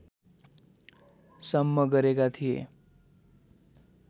सम्म गरेका थिए